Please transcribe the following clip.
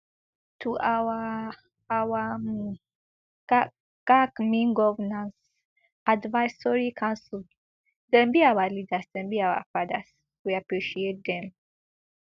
to our our um gac gac mean governance advisory council dem be our leaders dem be our fathers we appreciate dem